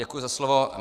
Děkuji za slovo.